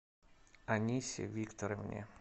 анисе викторовне